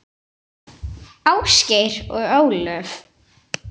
Ásgeir og Ólöf.